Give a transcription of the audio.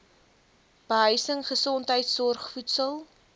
behuising gesondheidsorg voedsel